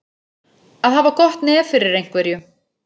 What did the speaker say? Að hafa gott nef fyrir einhverju